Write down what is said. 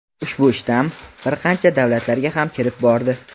ushbu shtamm bir qancha davlatlarga ham kirib bordi.